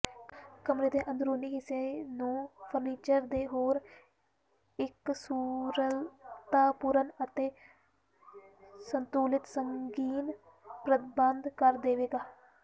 ਕਮਰੇ ਦੇ ਅੰਦਰੂਨੀ ਹਿੱਸੇ ਨੂੰ ਫਰਨੀਚਰ ਦੇ ਹੋਰ ਇਕਸੁਰਤਾਪੂਰਨ ਅਤੇ ਸੰਤੁਲਿਤ ਸੰਗੀਨ ਪ੍ਰਬੰਧ ਕਰ ਦੇਵੇਗਾ